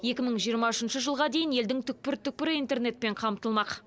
екі мың жиырма үшінші жылға дейін елдің түкпір түкпірі интернетпен қамтылмақ